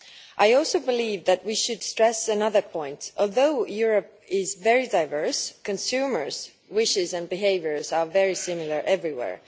I also believe that we should stress another point although Europe is very diverse, consumers' wishes and behaviour are very similar everywhere.